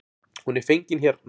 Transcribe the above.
Hún er fengin hérna.